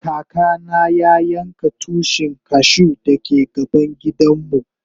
Kaka na ya yanka Tushin cashew da ke gaban gidan mu.